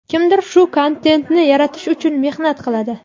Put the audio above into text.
Kimdir shu kontentni yaratish uchun mehnat qiladi.